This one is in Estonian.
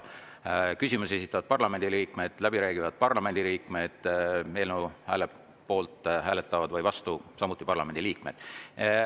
Küsimusi esitavad parlamendi liikmed, läbi räägivad parlamendi liikmed, eelnõu poolt või vastu hääletavad samuti parlamendiliikmed.